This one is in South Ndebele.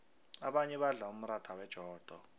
abanye badla umratha wejodo